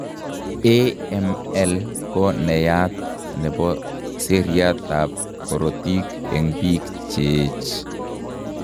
AML ko nenaiyat nebo seriat ab korotik eng' biik cheech